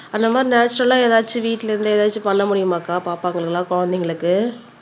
அந்த மாறி நேச்சரல்லா ஏதாச்சு வீட்ல இருந்து ஏதாச்சும் பண்ண முடியுமாக்கா பாப்பாங்களுக்கு எல்லாம் குழந்தைங்களுக்கு